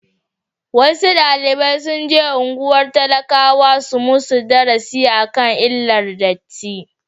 wasu dalibi sunje unguwannin talakawa su musu darasi akan illar datti